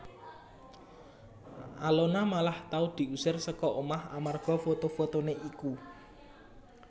Alona malah tau diusir saka omah amarga foto fotoné iku